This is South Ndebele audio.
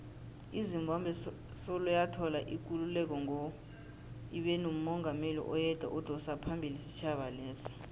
izimbabwe soloyathola ikululeko ngo ibenomungameli oyedwa odosaphambili isitjhaba lesa